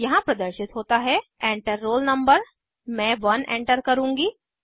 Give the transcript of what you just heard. यहाँ प्रदर्शित होता है Enter रोल no मैं 1 एंटर करुँगी